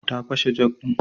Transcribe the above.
Ta fashe jog ne?